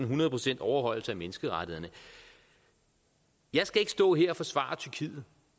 hundrede procents overholdelse af menneskerettighederne jeg skal ikke stå her og forsvare tyrkiet